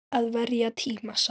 Að verja tíma saman.